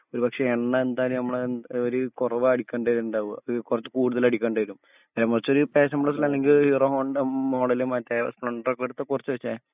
ഒരുപക്ഷെ എണ്ണ എന്തായാലും നമ്മൾ ഒരു കൊറവ അടിക്കേണ്ടരണ്ടാവാ കൊറച്ചുകൂടുതൽ അടിക്കണ്ടേരും നേരം മറിച് ഒരു പാഷൻപ്ലസ്ല് അല്ലെങ്കി ഹീറോ ഹോണ്ട മോഡല് മറ്റേ സ്‌പ്ലെൻഡർ ഒക്കെ എട്ത് കൊറച് ഒഴിച്ചെ